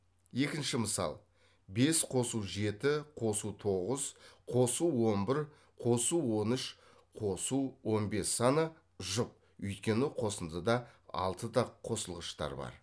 екінші мысал бес қосу жеті қосы тоғыз қосу он бір қосу он үш қосу он бес саны жұп өйткені қосындыда алты тақ қосылғыштар бар